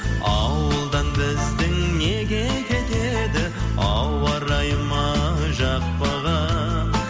ауылдан біздің неге кетеді ауа райы ма жақпаған